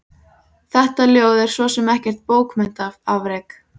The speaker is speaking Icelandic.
Þetta ljóð er svo sem ekkert bókmenntaafrek.